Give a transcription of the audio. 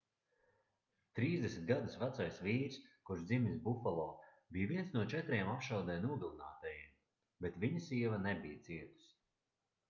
30 gadus vecais vīrs kurš dzimis bufalo bija viens no četriem apšaudē nogalinātajiem bet viņa sieva nebija cietusi